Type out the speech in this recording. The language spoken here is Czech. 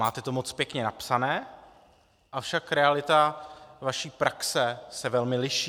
Máte to moc pěkně napsané, avšak realita vaší praxe se velmi liší.